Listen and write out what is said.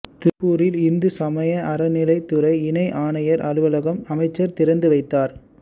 திருப்பூரில் இந்து சமய அறநிலையத் துறை இணை ஆணையா் அலுவலகம் அமைச்சா் திறந்துவைத்தாா்